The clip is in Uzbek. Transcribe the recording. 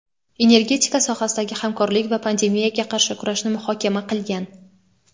energetika sohasidagi hamkorlik va pandemiyaga qarshi kurashni muhokama qilgan.